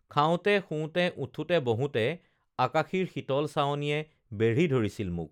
খাওঁতে শুওঁতে উঠোঁতে বহোঁতে আকাশীৰ শীতল চাৱনিয়ে বেঢ়ি ধৰিছিল মোক